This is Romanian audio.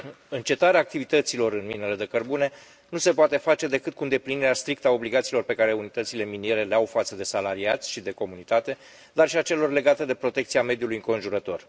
Încetarea activităților în minele de cărbune nu se poate face decât cu îndeplinirea strictă a obligațiilor pe care unitățile miniere le au față de salariați și de comunitate, dar și a celor legate de protecția mediului înconjurător.